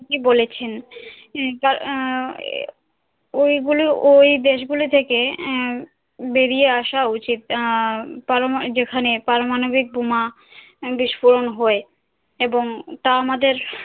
ঠিক বলেছেন এ ওই গুলো আহ ঐ দেশ গুলো থেকে বেরিয়ে আশা উচিত আন পরমা যেখানে পারমাণবিক বোমা বিস্ফোরণ হয় এবং তা আমাদের